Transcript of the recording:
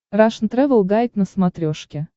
рашн тревел гайд на смотрешке